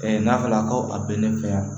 n'a fɔra ko a be ne fɛ yan